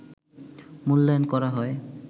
মূল্যায়ন করা হয়